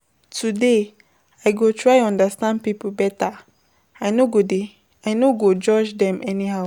Today I go try understand pipo beta, I no go judge dem anyhow.